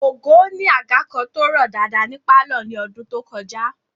Ògo ni àga kan tó rọ̀ dáadáa ní pálọ̀ ní ọdún tó kọjá